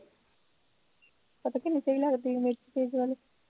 ਪਤਾ ਕਿੰਨੀ ਸਹੀ ਲੱਗਦੀ ਸੀ ਮਿਰਚ ਤੇਜ਼ ਹੋਣੀ